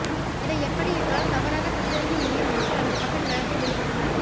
இதை எப்படி எங்களால் தவறாக சித்தரிக்க முடியும் என்று தனது பக்க நியாயத்தை வெளிப்படுத்தினார்